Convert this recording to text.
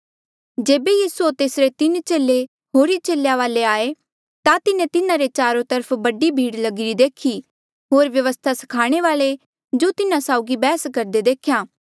जेबे यीसू होर तेसरे तीन चेले होरी चेलेया वाले आये ता तिन्हें तिन्हारे चारो तरफ बडी भीड़ लगिरी देखी होर व्यवस्था स्खाणे वाल्ऐ जो तिन्हा साउगी बैहस करदे देख्या